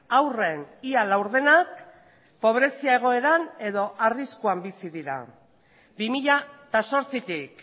haurren ia laurdenak pobrezia egoeran edo arriskuan bizi dira bi mila zortzitik